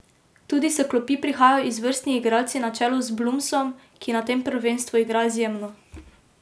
Tudi s klopi prihajajo izvrstni igralci na čelu z Blumsom, ki na tem prvenstvu igra izjemno.